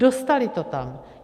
Dostaly to tam.